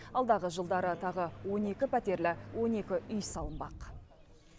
алдағы жылдары тағы он екі пәтерлі он екі үй салынбақ